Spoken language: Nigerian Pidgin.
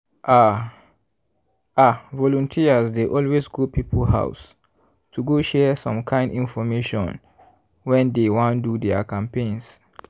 ah! ah volunteers dey always go people house to go share some kind infomation when dey wan do their campaigns.